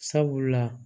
Sabula